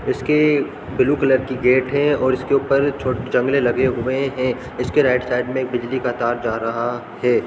इसके blue colour की gate है और इसके ऊपर छो जंगले लगे हुए हैं इसके राइट साइड में एक बिजली का तार जा रहा है।